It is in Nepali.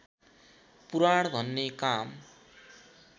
पुराण भन्ने काम